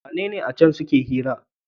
wune acen suke hira?